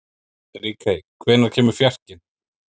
Ríkey, hvenær kemur fjarkinn?